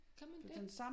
Kan man det?